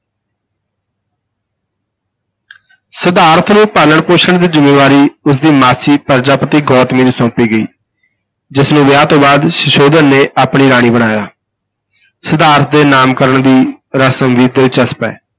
ਸਿਧਾਰਥ ਨੂੰ ਪਾਲਣ ਪੋਸ਼ਣ ਦੀ ਜ਼ਿੰਮੇਵਾਰੀ ਉਸ ਦੀ ਮਾਸੀ ਪ੍ਰਜਾਪਤੀ ਗੌਤਮੀ ਨੂੰ ਸੌਂਪੀ ਗਈ, ਜਿਸ ਨੂੰ ਵਿਆਹ ਤੋਂ ਬਾੳਦ ਸੁਧੋਧਨ ਨੇ ਆਪਣੀ ਰਾਣੀ ਬਣਾਇਆ, ਸਿਧਾਰਥ ਦੇ ਨਾਮਕਰਣ ਦੀ ਰਸਮ ਵੀ ਦਿਲਚਸਪ ਹੈ।